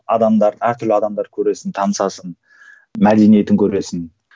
адамдар әртүрлі адамдар көресің танысасың мәдениетін көресің